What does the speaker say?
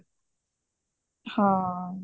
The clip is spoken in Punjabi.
ਹਾਂ